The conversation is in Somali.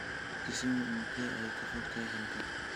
Kisumu intee ayay ka fogtahay halkan?